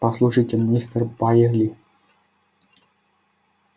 послушайте мистер байерли